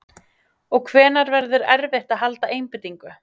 Og hvenær verður erfitt að halda einbeitingu?